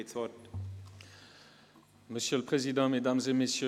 – Regierungsrat Schnegg, Sie haben das Wort.